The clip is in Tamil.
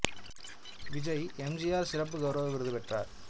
விஜய் எம் ஜி ஆர் சிறப்பு கௌரவ விருது பெற்றார்